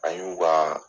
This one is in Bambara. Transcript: An y'u ka